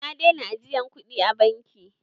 Na daina ajiyan kuɗi a banki.